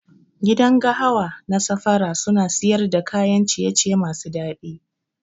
Gidan gahawa na safara suna siyar da kayan ciye ciye masu dadi.